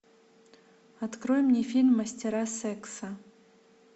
открой мне фильм мастера секса